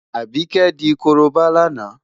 Àbíkẹ́ tí di korobá lánàá.